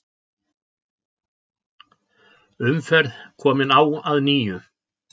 Umferð komin á að nýju